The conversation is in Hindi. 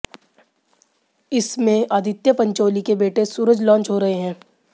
इसमें आदित्य पंचोली के बेटे सूरज लांच हो रहे हैं